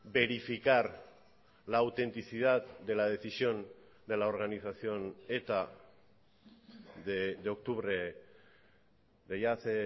verificar la autenticidad de la decisión de la organización eta de octubre de ya hace